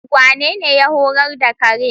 Wanene ya horar da kare?